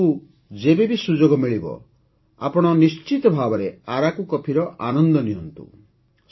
ଆପଣଙ୍କୁ ଯେବେବି ସୁଯୋଗ ମିଳିବ ଆପଣ ନିଶ୍ଚିତ ଭାବେ ଆରାକୁ କଫିର ଆନନ୍ଦ ନିଅନ୍ତୁ